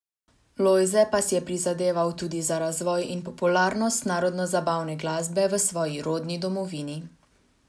Lojze pa si je prizadeval tudi za razvoj in popularnost narodno zabavne glasbe v svoji rodni domovini.